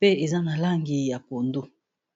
pe eza na langi ya pondo.